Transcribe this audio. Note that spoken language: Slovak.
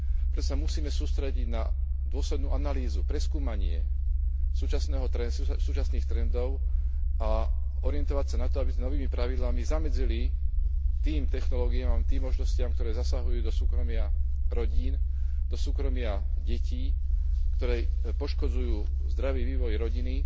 Preto sa musíme sústrediť na dôslednú analýzu, preskúmanie súčasných trendov a orientovať sa na to, aby sme novými pravidlami zamedzili tým technológiám a tým možnostiam, ktoré zasahujú do súkromia rodín, do súkromia detí, ktoré poškodzujú zdravý vývoj rodiny